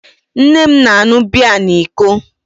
Nne m na-aṅụ biya na iko